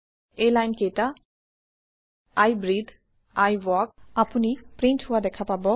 এই লাইন কেইটা160 I breathe I walk আপোনি প্ৰীন্ট হোৱা দেখা পাব